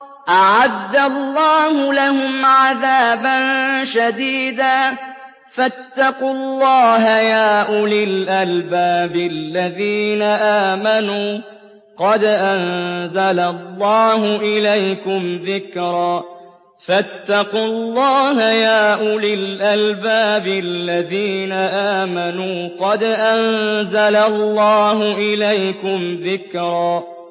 أَعَدَّ اللَّهُ لَهُمْ عَذَابًا شَدِيدًا ۖ فَاتَّقُوا اللَّهَ يَا أُولِي الْأَلْبَابِ الَّذِينَ آمَنُوا ۚ قَدْ أَنزَلَ اللَّهُ إِلَيْكُمْ ذِكْرًا